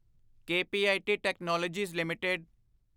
KPIT technologies LTD